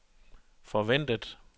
forventet